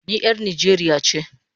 I am a Nigerian